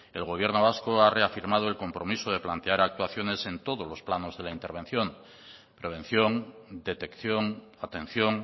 el gobierno vasco ha reafirmado el compromiso de plantear actuaciones en todos los planos de la intervención prevención detección atención